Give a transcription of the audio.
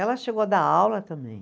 Ela chegou a dar aula também.